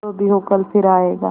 जो भी हो कल फिर आएगा